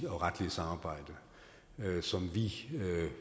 og retlige samarbejde som vi